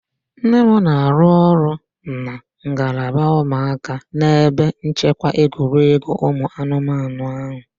Nne m na-arụ ọrụ na ngalaba ụmụaka n'ebe nchekwa egwuregwu ụmụ anụmanụ ahụ